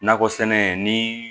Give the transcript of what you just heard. Nakɔ sɛnɛ ni